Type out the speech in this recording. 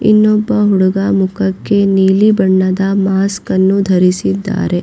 ಇನ್ನೊಬ್ಬ ಹುಡುಗ ಮುಖಕ್ಕೆ ನೀಲಿ ಬಣ್ಣದ ಮಾಸ್ಕನ್ನು ಧರಿಸಿದ್ದಾರೆ.